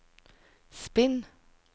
spinn